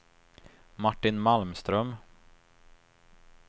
Martin Malmström